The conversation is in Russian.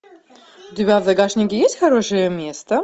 у тебя в загашнике есть хорошее место